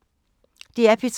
DR P3